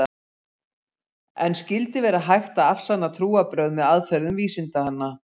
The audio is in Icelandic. En skyldi vera hægt að afsanna trúarbrögð með aðferðum vísindanna?